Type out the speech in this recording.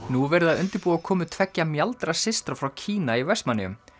nú er verið að undirbúa komu tveggja frá Kína í Vestmannaeyjum